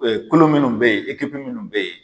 kulu minnu bɛ ye minnu bɛ ye.